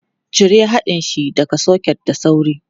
Cire haɗin shi daga soket da sauri!